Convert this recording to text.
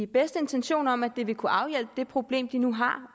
bedste intention om at det vil kunne afhjælpe det problem de nu har